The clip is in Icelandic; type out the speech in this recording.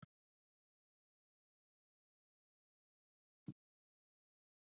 Hólmgrímur, stilltu tímamælinn á áttatíu og níu mínútur.